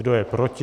Kdo je proti?